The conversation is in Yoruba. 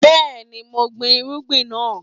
Yes, I planted the crop